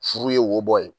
Furu ye wo bɔ ye